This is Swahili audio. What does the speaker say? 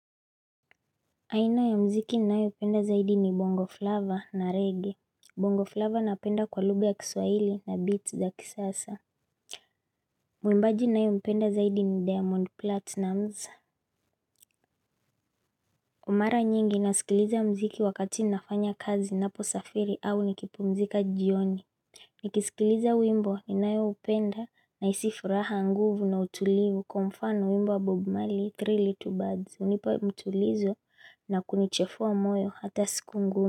Aina ya muziki ninayopenda zaidi ni bongo flava na reggae. Bongo flava napenda kwa lugha ya kiswaili na beats za kisasa. Mwimbaji ninayempenda zaidi ni Diamond Platnumz Mara nyingi nasikiliza muziki wakati nafanya kazi, ninaposafiri au nikipumzika jioni. Nikisikiliza wimbo ninayoupenda nahisi furaha, nguvu na utulivu, kwa mfano wimbo wa Bob Marley, three little birds, hunipa mtulizo na kunichefua moyo hata siku ngumu.